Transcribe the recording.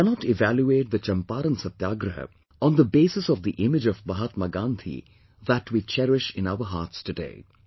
We cannot evaluate the Champaran Satyagraha on the basis of the image of Mahatma Gandhi that we cherish in our hearts today